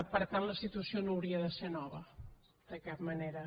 per tant la situació no hauria de ser nova de cap manera